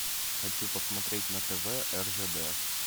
хочу посмотреть на тв ржд